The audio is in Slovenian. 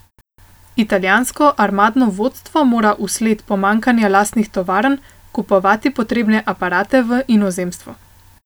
Italijansko armadno vodstvo mora vsled pomanjkanja lastnih tovarn, kupovati potrebne aparate v inozemstvu.